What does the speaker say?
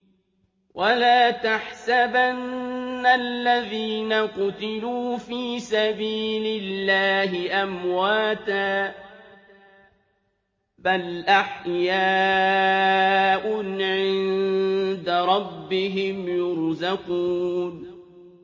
وَلَا تَحْسَبَنَّ الَّذِينَ قُتِلُوا فِي سَبِيلِ اللَّهِ أَمْوَاتًا ۚ بَلْ أَحْيَاءٌ عِندَ رَبِّهِمْ يُرْزَقُونَ